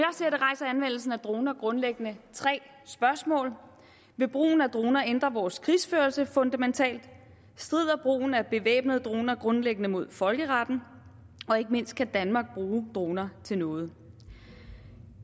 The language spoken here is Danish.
droner grundlæggende tre spørgsmål vil brugen af droner ændre vores krigsførelse fundamentalt strider brugen af bevæbnede droner grundlæggende mod folkeretten og ikke mindst kan danmark bruge droner til noget